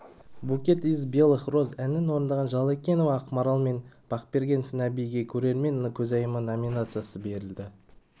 букет из белых роз әнін орындаған жалекенова ақмарал мен бақберген нәбиге көрермен көзайымы номинациясы берілді